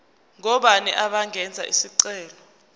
ngobani abangenza isicelo